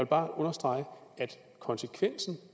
bare understrege at konsekvensen